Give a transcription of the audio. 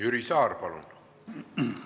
Jüri Saar, palun!